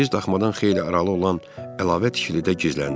Biz daxmadan xeyli aralı olan əlavə tikilidə gizləndik.